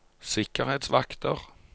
sikkerhetsvakter